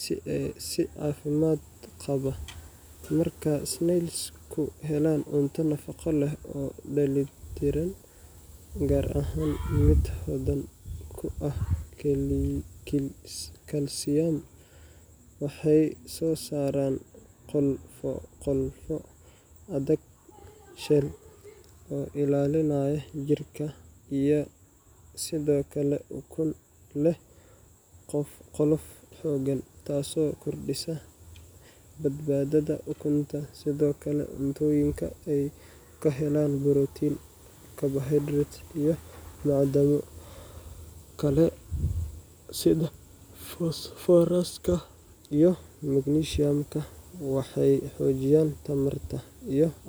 si caafimaad qaba. Marka snails-ku helaan cunto nafaqo leh oo dheellitiran, gaar ahaan mid hodan ku ah kalsiyam, waxay soo saaraan qolfoof adag shell oo ilaalinaya jirka, iyo sidoo kale ukun leh qolof xooggan, taasoo kordhisa badbaadada ukunta. Sidoo kale, cuntooyinka ay ka helaan borotiin, carbohydrates, iyo macdano kale sida fosfooraska iyo magnesium-ka waxay xoojiyaan tamarta iyo caafimaadka.